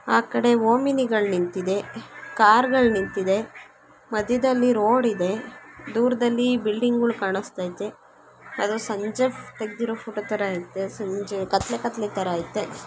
ಆ ಕಡೆ ಓಂಮಿನಿಗಳು ನಿಂತಿದೇ ಕಾರಗಳು ನಿಂತಿದೇ ಮಧ್ಯದಲ್ಲಿ ರೋಡ್ ಇದೆ ದೂರದಲ್ಲಿ ಬಿಲ್ಡಿಂಗಗಳು ಕಾಣಿಸ್ತ ಐತೆ. ಯಾವುದೋ ಸಂಜೆ ತೆಗೆದಿರೋ ಫೋಟೋ ತರ ಐತೆ ಸಂಜೆ ಕತ್ತಲೆ ಕತ್ತಲೆ ತರ ಐತೆ.